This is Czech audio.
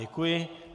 Děkuji.